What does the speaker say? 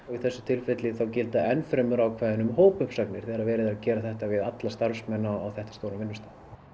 í þessu tilfelli gilda enn fremur ákvæði um hópuppsagnir þegar verið að gera þetta við allt starfsfólk á þetta stórum vinnustað